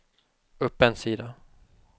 upp en sida